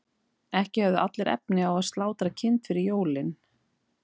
ekki höfðu allir efni á að slátra kind fyrir jólin